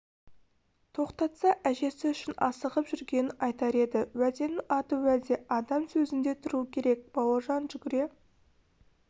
тоқтатса әжесі үшін асығып жүргенін айтар еді уәденің аты уәде адам сөзінде тұруы керек бауыржан жүгіре